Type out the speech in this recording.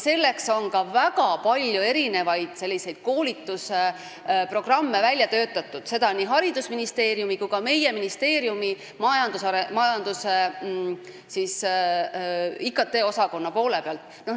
Selleks on ka väga palju koolitusprogramme välja töötatud, seda nii haridusministeeriumis kui ka meie ministeeriumi infotehnoloogiaosakonnas.